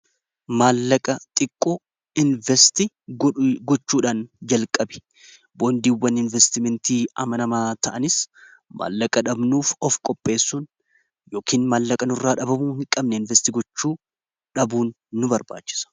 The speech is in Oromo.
maallaqa xiqqoo investi gochuudhaan jalqabe boondiiwwan investimentii amanamaa ta'anis maallaqa dhabnuuf of qopheessun yookain maallaqanu irraa dhabamuu hin qabne investi gochuu dhabuun nu barbaachisa